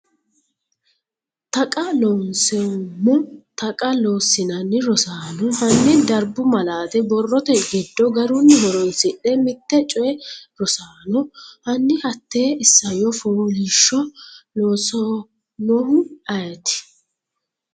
Taqa Loonseemmo Taqa Loossinanni Rosaano, hanni darbu malaate borrote giddo garunni horoonsidhe mitte coy Rosaano, hanni hatte isayyo fooliishsho loossannohu ayeeti?